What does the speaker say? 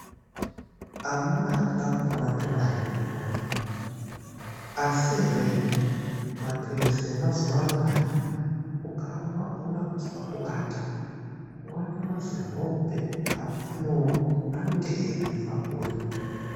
Amunaa kuda kupona toda hedu kupona, asi ere mapilizi emazuvaanaa hay, ukaanwa unoda kuzwa kuata, kuata mazihope. Apeno kuti anenge eimbobva kuri.